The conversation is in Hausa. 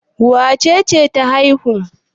Wace ce ta haihu?